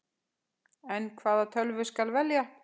En hvaða tölvu skal velja?